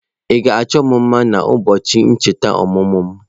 Ị ga-achọ m mma na ụbọọchi ncheta ọmụmụ m?